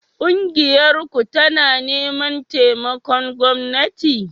Ƙungiyarku tana neman taimakon gwamnati?